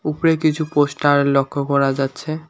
উপরে কিছু পোস্টার লক্ষ্য করা যাচ্ছে।